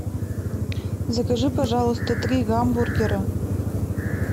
закажи пожалуйста три гамбургера